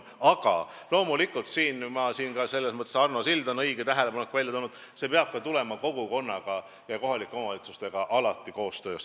Aga loomulikult – selles mõttes oli Arno Silla tähelepanek õige – see peab sündima kohaliku kogukonna ja kohalike omavalitsustega koostöös.